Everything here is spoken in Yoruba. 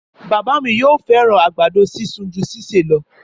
Bàbá mi yóò fẹràn àgbàdo sisun ju sise lọ